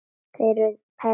Þeir eru perlur.